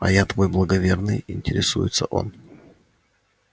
а я твой благоверный интересуется он